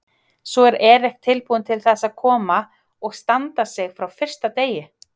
Svo er Eric tilbúinn til þess að koma og standa sig frá fyrsta degi?